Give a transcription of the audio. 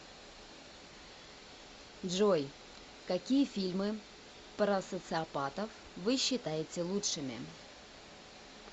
джой какие фильмы про социопатов вы считаете лучшими